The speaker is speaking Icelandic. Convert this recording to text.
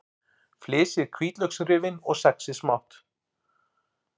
Flysjið hvítlauksrifin og saxið smátt.